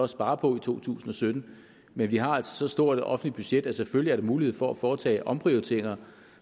spare på i to tusind og sytten men vi har altså så stort et offentligt budget at der selvfølgelig er mulighed for at foretage omprioriteringer